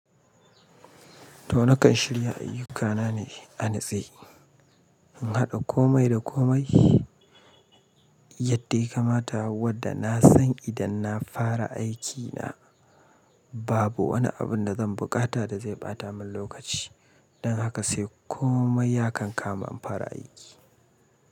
To nakan shirya ayyukana ne anutse, in haɗa komai da komai yadda ya kamata. Wadda na san idan na fara aikina babu wani abun da zan buƙata da zai ɓata min lokaci. Don haka sai komai ya kan kama in fara aiki.